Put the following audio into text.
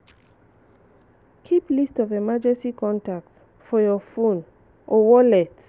keep list of emergency contact for your phone or wallet